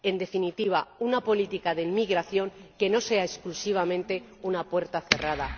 En definitiva, una política de inmigración que no sea exclusivamente una puerta cerrada.